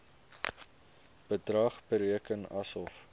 bedrag bereken asof